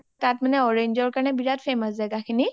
ডাম্বুক তাত মানে orange ৰ কাৰণে বিৰাত famous জাগা খিনি